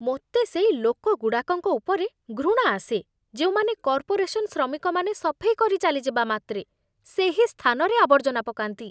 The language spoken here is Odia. ମୋତେ ସେଇ ଲୋକଗୁଡ଼ାକଙ୍କ ଉପରେ ଘୃଣା ଆସେ, ଯେଉଁମାନେ, କର୍ପୋରେସନ୍ ଶ୍ରମିକମାନେ ସଫେଇ କରି ଚାଲିଯିବା ମାତ୍ରେ ସେହି ସ୍ଥାନରେ ଆବର୍ଜନା ପକାନ୍ତି।